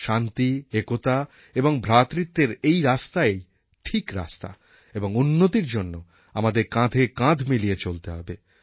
শান্তি একতা ও ভ্রাতৃত্বের এই রাস্তাই ঠিক রাস্তা এবং উন্নতির জন্য আমাদের কাঁধে কাঁধ মিলিয়ে চলতে হবে